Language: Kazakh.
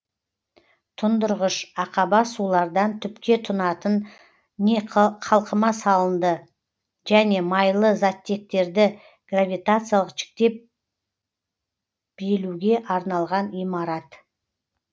тұндырғыш ақаба сулардан түпке тунатын не қалқыма салынды және майлы заттектерді гравитациялық жіктеп белуге арналған имарат